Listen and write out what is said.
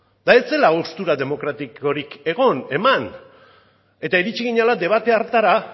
eta ez zela haustura demokratikorik egon eman eta iritsi ginela debate hartara